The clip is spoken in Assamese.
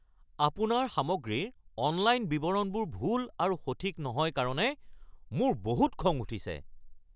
আপোনাৰ সামগ্ৰীৰ অনলাইন বিৱৰণবোৰ ভুল আৰু সঠিক নহয় কাৰণে মোৰ বহুত খং উঠিছে।